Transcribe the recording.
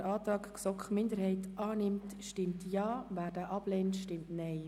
Wer den Antrag GSoK-Minderheit annimmt, stimmt Ja, wer diesen ablehnt, stimmt Nein.